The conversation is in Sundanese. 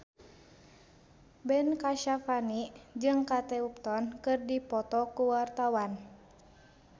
Ben Kasyafani jeung Kate Upton keur dipoto ku wartawan